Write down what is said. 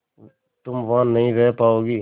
तुम वहां नहीं रह पाओगी